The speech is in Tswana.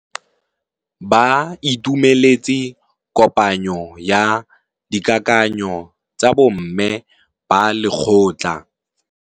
Ba itumeletse kôpanyo ya dikakanyô tsa bo mme ba lekgotla.